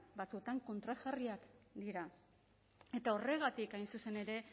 batzuetan kontrajarriak dira eta horregatik hain zuzen ere